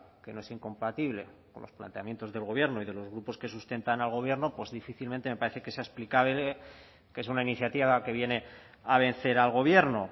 que no es incompatible con los planteamientos del gobierno y de los grupos que sustentan al gobierno pues difícilmente me parece que sea explicable que es una iniciativa que viene a vencer al gobierno